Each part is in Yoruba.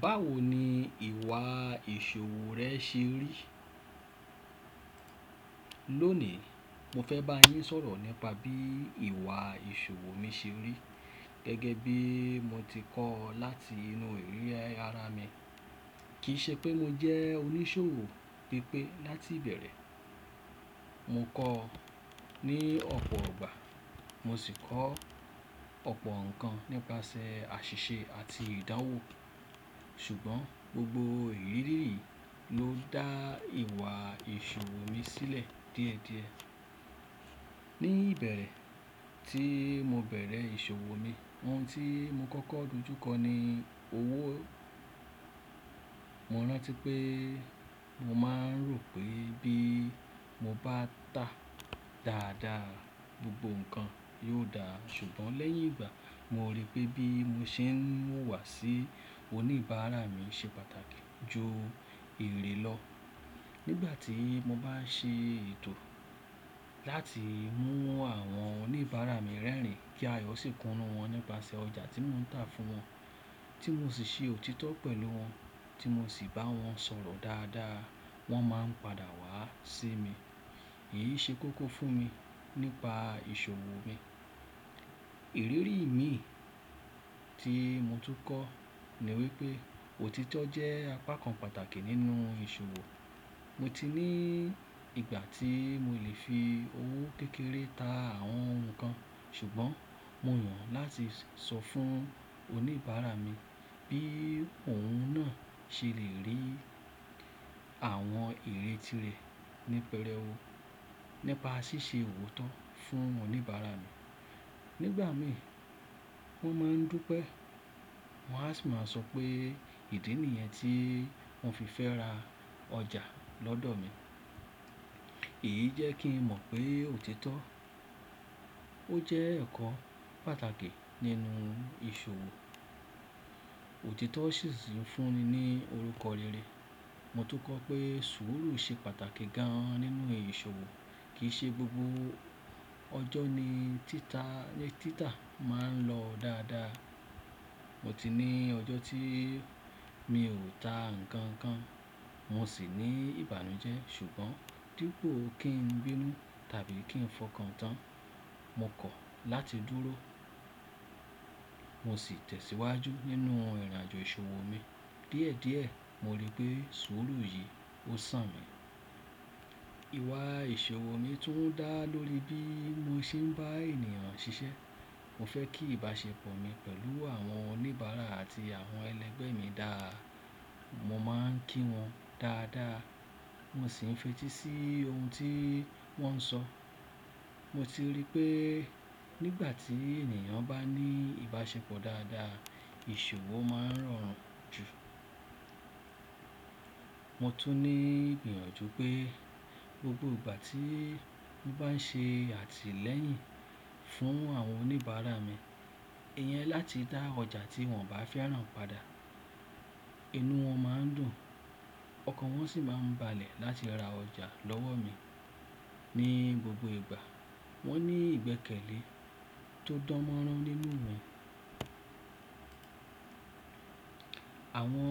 Báwo ni ìwà ìṣòwò rẹ ṣe rí? Lónìí, mo fẹ́ bá yín sọ̀rọ̀ nípa bí ìwà ìṣòwò mi ṣe rí gẹ́gẹ́ bí mo ti kọ́ láti inú ìríre ara mi. Kì í ṣe pé mo jẹ́ oníṣòwò pípé láti ìbẹ̀rẹ̀. Mo kọ́ ní ọ̀pọ̀ gbà, mo sì kọ́ ọ̀pọ̀ nnkan nípasẹ̀ àṣìṣe àti ìdánwò ṣùgbọ́n gbogbo ìrírí yìí ló dá ìwà ìṣòwò mi sílẹ̀ díẹ̀díẹ̀. Ní ìbẹ̀rẹ̀ tí mo bẹ̀rẹ̀ ìṣòwò mi, ohun tí mo kọ́kọ́ dojú kọ ni owó. Mọ̀ ránti pé mo máa ń rò pé bí mo bá ta dáadáa gbogbo nnkan yóò dá ṣùgbọ́n lẹ́yìn ìgbà mo rí pé bí mo ṣe ń wùwà sí oníbàárà mi ṣe pàtàkì ju erè lọ. Nígbà tí mo bá ṣe ètò láti mú àwọn oníbàárà mi rẹ́rìn kí ayọ́ sì kunu wọ́n nípasẹ̀ ọjà tí mò ń tà fún wọn, tí mo sì si òtítọ́ pẹ̀lú wọn, tí mo sì bá wọn sọ̀rọ̀ dáadáa, wọ́n máa ń padà wá sí mi. Èyí ṣe kókó fún mi nípa ìṣòwò mi. Ìrírí mi tí mo tún kọ́ ni wípé òtítọ́ jẹ́ apá kan pàtàkì nínú ìṣòwò. Mo ti ní ìgbà tí mo lè fi owó kékeré ta àwọn ohun kan ṣùgbọ́n mo yàn láti sọ fún oníbàárà mi bí òun náà ṣe lè rí àwọn erè tí rẹ̀ ní pẹrẹ wó. Nípa ṣíṣe iwòtó fún oníbàárà mi. Nígbà mi wọ́n máa ń dúpẹ́, wọ́n á sì máa sọ pé ìdí nìyẹn tí wọ́n fi fẹ́ ra ọjà lọ́dọ̀ mi. Èyí jẹ́ kí n mọ̀ pé òtítọ́ ó jẹ́ ẹ̀kọ́ pàtàkì nínú ìṣòwò. Òtítọ́ sì si ń fún mi ní orúkọ rere. Mo tún kọ́ pé sùúrù ṣe pàtàkì gan nínú ìṣòwò. Kì í ṣe gbogbo ọjọ́ ni títà, tita máa ń lọ dáadáa. Mo ti ní ọjọ́ tí mi ò ta ǹnkan kan, mo sì ní ìbànújẹ́ ṣùgbọ́n dípò kí n bínú tàbí kí n fọkàn tán, mo kọ̀ láti dúró, mo sì tẹ̀síwájú nínú ìrìnàjò ìṣòwò mi. Díẹ̀díẹ̀ mo rí pé sùúrù yìí ó sàn mi. Ìwà ìṣòwò mi tún dá lórí bí mo ṣe ń bá ènìyàn ṣiṣẹ́. Mo fẹ́ kí ìbáṣepọ̀ mi pẹ̀lú àwọn oníbàárà àti àwọn ẹlẹgbẹ́ mi dáa. Mo máa ń kí wọn dáadáa, mo sì ń fetí sí ohun tí wọ́n ń sọ. Mo ti rí pé nígbà tí ènìyàn bá ní ìbáṣepọ̀ dáadáa, ìṣòwò máa ń rọrùn jù. Mo tún ní gbìyànjú pé gbogbo ìgbà tí mo bá ń ṣe àtìlẹ́yìn fún àwọn oníbàárà mi, ìyẹn láti dá ọjà tí wọ́n bá fẹ́ràn padà, inú wọn máa ń dùn, ọkàn wọn sì máa ń balẹ̀ láti ra ọjà lọ́wọ́ mi. Ní gbogbo ìgbà wọ́n ní ìgbẹ́kẹ̀lé tó dánmọ́rán nínú mi. Àwọn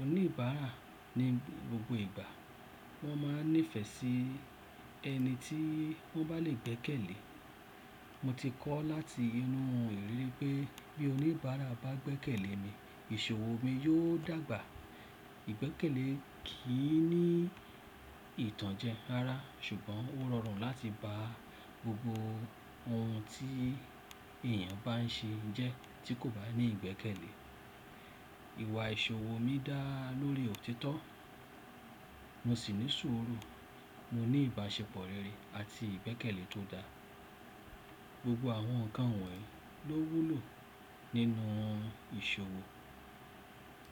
oníbàárà ní gbogbo ìgbà wọ́n máa ń nífẹ̀ẹ́ sí ẹni tí wọ́n bá lè gbẹ́kẹ̀lé. Mo ti kọ́ láti inú ìríri pé bí oníbàárà bá gbẹ́kẹ̀lé mi, ìṣòwò mi yóò dàgbà. Ìgbẹ́kẹ̀lé kì í ní ìtànjẹ ara ṣùgbọ́n ó rọrùn láti bá gbogbo ohun tí èèyàn bá ń ṣe jẹ́ tí kò bá ní ìgbẹ́kẹ̀lé. Ìwà ìṣòwò mi dá lórí òtítọ́, mo sì ní sùúrù, mo ní ìbáṣepọ̀ rere àti ìgbẹ́kẹ̀lé tó dá. Gbogbo àwọn ǹnkan wọ̀nyí ló wúlò nínú ìṣòwò.